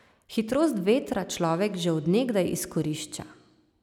Hitrost vetra človek že od nekdaj izkorišča.